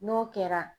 N'o kɛra